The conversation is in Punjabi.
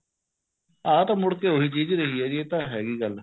ਆ ਤਾਂ ਮੁੜ ਕੇ ਉਹੀ ਚੀਜ਼ ਰਹੀ ਹੈ ਜੀ ਇਹ ਤਾਂ ਹੈਗੀ ਗੱਲ